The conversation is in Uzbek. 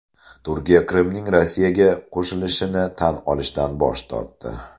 Turkiya Qrimning Rossiyaga qo‘shilishini tan olishdan bosh tortdi.